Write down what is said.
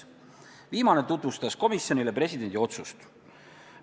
Viimane tutvustas komisjonile presidendi otsust.